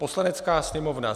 "Poslanecká sněmovna